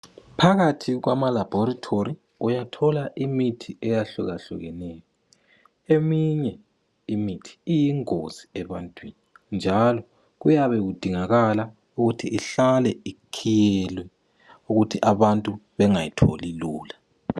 Phakathi kwama laboratory uyathola imithi eyahlukahlukeneyo eminye imithi iyingozi ebantwini njalo kuyabe kudingakala ukuthi ihlale ikhiyelwe ukuthi abantu bengayitholi lula